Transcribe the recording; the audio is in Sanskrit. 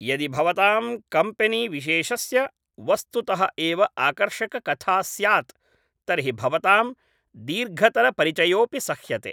यदि भवतां कम्पेनीविशेषस्य वस्तुतः एव आकर्षककथा स्यात् तर्हि भवतां दीर्घतरपरिचयोऽपि सह्यते।